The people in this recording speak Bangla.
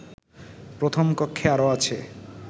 প্রথম কক্ষে আরো আছে